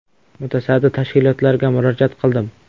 Mutasaddi tashkilotlarga murojaat qildim.